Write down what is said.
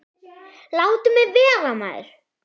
Láttu mig vera maður.